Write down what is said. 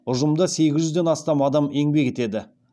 ұжымда сегіз жүзден астам адам еңбек етеді